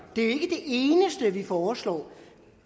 eneste vi foreslår